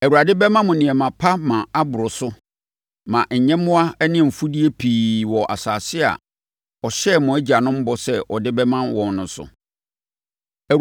Awurade bɛma mo nneɛma pa ma aboro so ma—nyɛmmoa ne afudeɛ pii wɔ asase a ɔhyɛɛ mo agyanom bɔ sɛ ɔde bɛma wɔn no so.